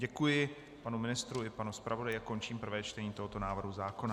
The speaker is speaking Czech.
Děkuji panu ministrovi i panu zpravodaji a končím prvé čtení tohoto návrhu zákona.